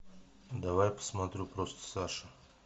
давай посмотрю просто саша